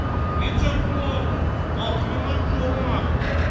Necə plov? Atamanın yoru haqqı.